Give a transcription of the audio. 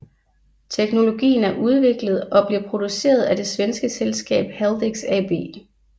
Teknologien er udviklet og bliver produceret af det svenske selskab Haldex AB